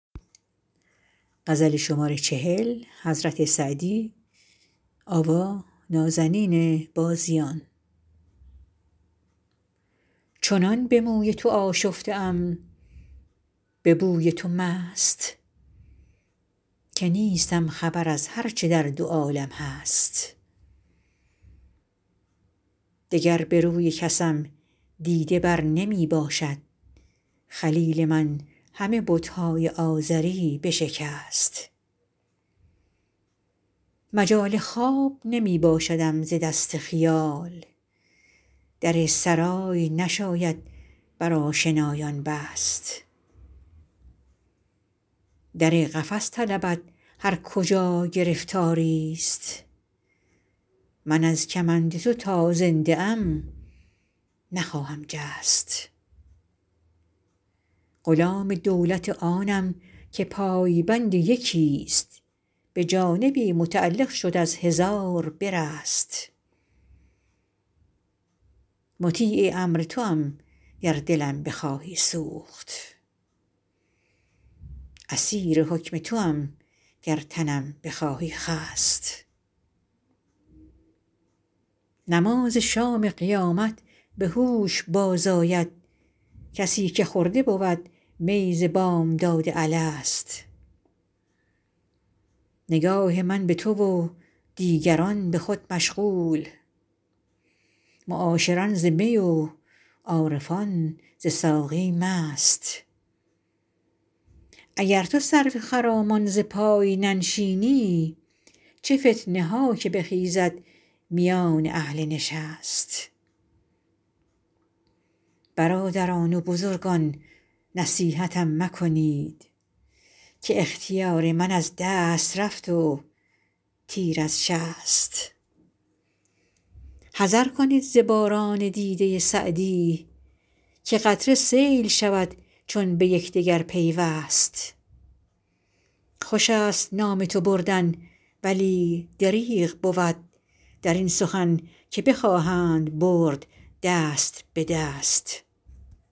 چنان به موی تو آشفته ام به بوی تو مست که نیستم خبر از هر چه در دو عالم هست دگر به روی کسم دیده بر نمی باشد خلیل من همه بت های آزری بشکست مجال خواب نمی باشدم ز دست خیال در سرای نشاید بر آشنایان بست در قفس طلبد هر کجا گرفتاری ست من از کمند تو تا زنده ام نخواهم جست غلام دولت آنم که پای بند یکی ست به جانبی متعلق شد از هزار برست مطیع امر توام گر دلم بخواهی سوخت اسیر حکم توام گر تنم بخواهی خست نماز شام قیامت به هوش باز آید کسی که خورده بود می ز بامداد الست نگاه من به تو و دیگران به خود مشغول معاشران ز می و عارفان ز ساقی مست اگر تو سرو خرامان ز پای ننشینی چه فتنه ها که بخیزد میان اهل نشست برادران و بزرگان نصیحتم مکنید که اختیار من از دست رفت و تیر از شست حذر کنید ز باران دیده سعدی که قطره سیل شود چون به یکدگر پیوست خوش است نام تو بردن ولی دریغ بود در این سخن که بخواهند برد دست به دست